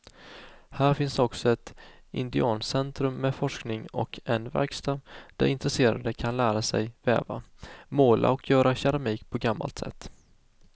Här finns också ett indiancentrum med forskning och en verkstad där intresserade kan lära sig väva, måla och göra keramik på gammalt sätt.